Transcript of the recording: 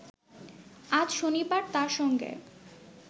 আজ শনিবার তার সঙ্গে